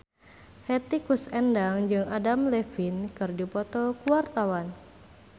Hetty Koes Endang jeung Adam Levine keur dipoto ku wartawan